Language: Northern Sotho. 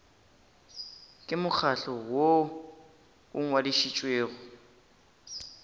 ke mokgatlo woo o ngwadišitšwego